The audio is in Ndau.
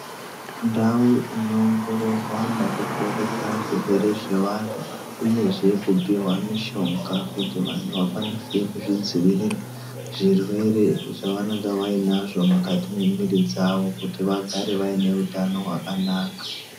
Ndau inoongororwa nekuporesa zvirwere zvevanhu uyezve kupihwa mishonga kuti vanhu vakwanise kuzvidzivirira zvirwere zvavanonga vainazvo mumwiri dzawo kuti vagare vainehutano hwakanaka.